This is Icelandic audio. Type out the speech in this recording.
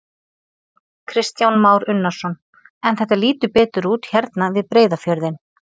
Kristján Már Unnarsson: En þetta lítur betur út hérna við Breiðafjörðinn?